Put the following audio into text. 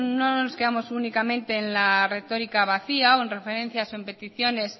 no nos quedamos únicamente en la retórica vacía o en referencias o en peticiones